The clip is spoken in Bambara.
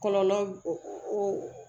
Kɔlɔlɔ o